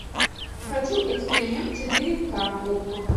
хочу эксперимент четыре ка окко